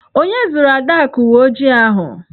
Onye zụụrụ Adaku uwe ojii ahụ?